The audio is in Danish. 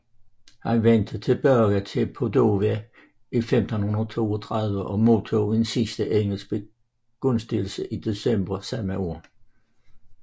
Han vendte tilbage til Padova i 1532 og modtog en sidste engelsk begunstigelse i december samme år